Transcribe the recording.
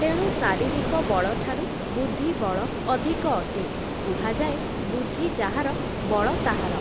ତେଣୁ ଶାରିରୀକ ବଳଠାରୁ, ବୁଦ୍ଧିବଳ ଅଧିକ ଅଟେ, କୁହାଯାଏ, ବୁଦ୍ଧି ଯାହାର, ବଳ ତାହାର ।